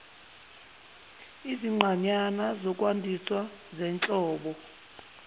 izinqanyana zokwandisa zenhlobo